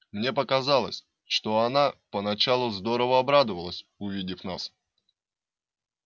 мне показалось что она поначалу здорово обрадовалась увидев нас